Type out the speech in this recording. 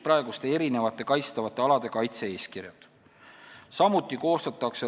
Praeguste kaitstavate alade kaitse-eeskirjad seotakse tervikuks.